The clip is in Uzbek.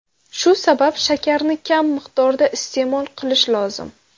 Shu sabab shakarni kam miqdorda iste’mol qilish lozim.